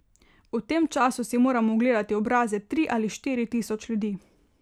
V tem času si moram ogledali obraze tri ali štiri tisoč ljudi.